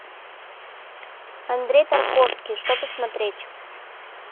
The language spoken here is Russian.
андрей тарковский что посмотреть